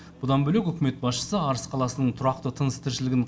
бұдан бөлек үкімет басшысы арыс қаласының тұрақты тыныс тіршілігін